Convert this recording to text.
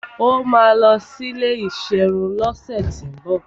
Ó máa lọ sí ilé ìserun lọ́sẹ̀tíbọ̀